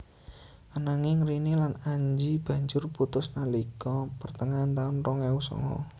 Ananging Rini lan Anji banjur putus nalika pertengahan taun rong ewu songo